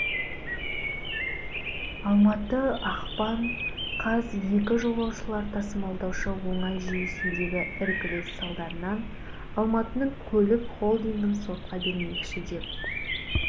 алматы ақпан қаз екі жолаушылар тасымалдаушы оңай жүйесіндегі іркіліс салдарынан алматының көлік холдингін сотқа бермекші деп